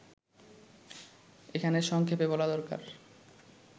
এখানে সংক্ষেপে বলা দরকার